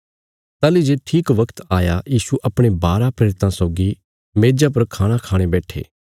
ताहली जे ठीक वगत आया यीशु अपणे बाराँ प्रेरितां सौगी मेज़ा पर खाणा खाणे बैट्ठे